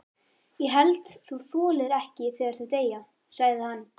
Ég held þú þolir ekki þegar þau deyja, sagði hann.